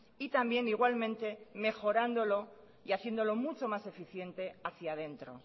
y también igualmente mejorándolo y haciéndolo mucho más eficiente hacía dentro